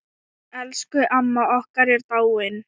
Elsku amma okkar er dáin.